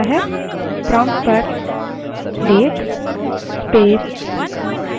यह hh: mm: ss के रूप में केवल हमें समय बताता है